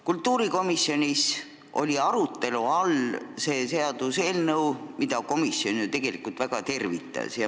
Kultuurikomisjonis oli arutelu all see seaduseelnõu, mida komisjon tegelikult väga tervitas.